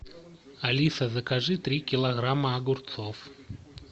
алиса закажи три килограмма огурцов